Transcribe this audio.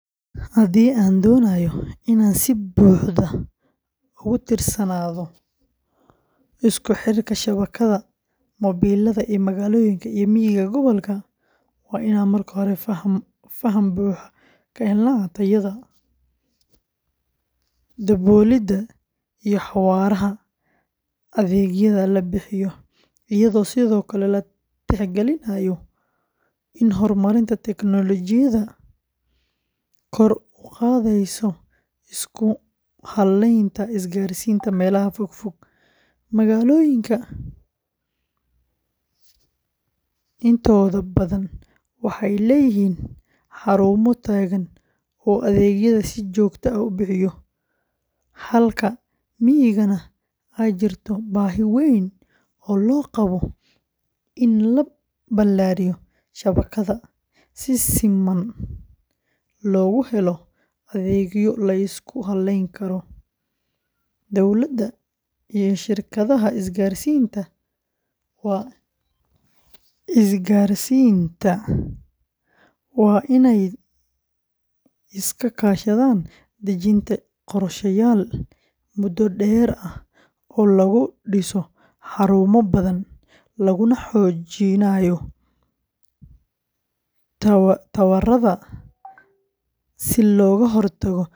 Hadii an donayo in a si buxda ogu tirsanadha iskuxirka shawakaada mobelaada iyo magaaloyinka iyo miga gobolka waa in an marka hore fahmo buxa ka hela tayaada, iyado sithokale la tix galinayo in hormarinta tiknologiyaadu kor u qadeyso isku halenta isgar sinta melaha fog fog magaaloyinka intoda badan waxee leyihin xarumo tagan oo adegyaada si jogto ah u bixiya, halka migana ee jirto bahi weyn oo loqawo in la balariyo shawakada, dowlaada iyo shirkaadaha isgar sinta waa isgar sinta waa in ee iska kashaadan dajinta qorshayal mudo deer ah oo lagu diso xarumo badan laguna xojinayo tawaraada si loga hortago.